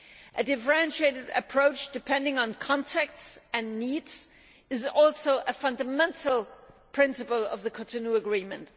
A differentiated approach depending on contexts and needs is also a fundamental principle of the Cotonou Agreement.